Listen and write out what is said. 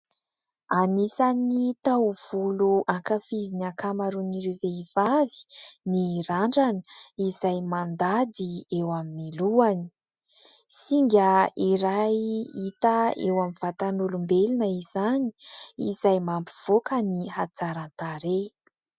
Anisan'ny taovolo ankafizin'ny ankamaroan'ireo vehivavy ny randrana izay mandady eo amin'ny lohany. Singa iray hita eo amin'ny vatan'olombelona izany izay mampivoaka ny hatsaran-tarehy.